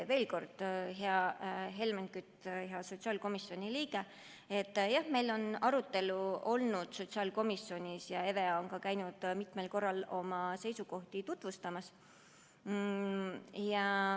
Veel kord: hea Helmen Kütt, sotsiaalkomisjoni liige, jah, meil on see sotsiaalkomisjonis arutelu all olnud ja EVEA on ka käinud mitmel korral oma seisukohti tutvustamas.